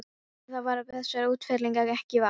Eftir það varð þessara útfellinga ekki vart.